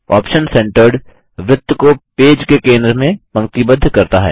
option centred वृत्त को page के केंद्र में पंक्तिबद्ध करता है